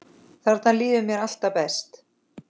Þarna líður mér alltaf best.